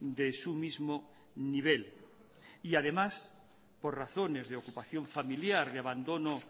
de su mismo nivel y además por razones de ocupación familiar de abandono